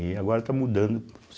E agora está mudando.